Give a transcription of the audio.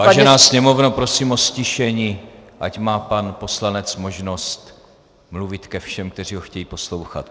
Vážená Sněmovno, prosím o ztišení, ať má pan poslanec možnost mluvit ke všem, kteří ho chtějí poslouchat.